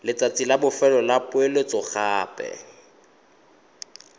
letsatsi la bofelo la poeletsogape